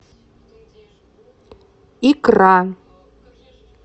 икра